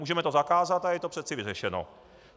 Můžeme to zakázat, a je to přece vyřešeno.